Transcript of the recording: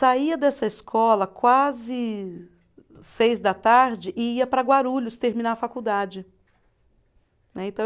Saía dessa escola quase seis da tarde e ia para Guarulhos terminar a faculdade. Né, então